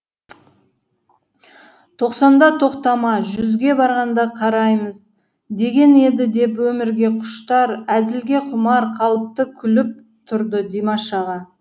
тоқсанда тоқтама жүзге барғанда қараймыз деген еді деп өмірге құштар әзілге құмар қалыпта күліп тұрды димаш аға